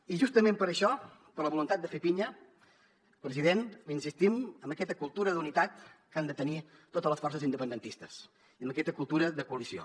i justament per això per la voluntat de fer pinya president insistim en aquesta cultura d’unitat que han de tenir totes les forces independentistes i en aquesta cultura de coalició